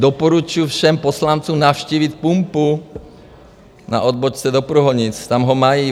Doporučuju všem poslancům navštívit pumpu na odbočce do Průhonic, tam ho mají.